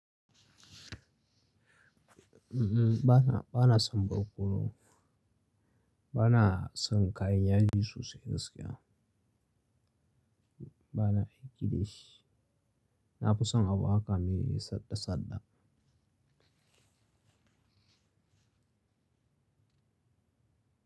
Mhm, bana, bana son barkono. Bana son kayan yaji sosai gaskiya. Bana aiki da shi. Na fi son abu haka me saɗa saɗa.